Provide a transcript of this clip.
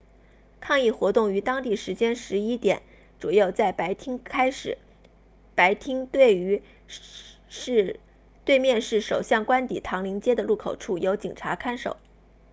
抗议活动于当地时间 11:00 utc+1 左右在白厅 whitehall 开始白厅对面是首相官邸唐宁街的入口处由警察看守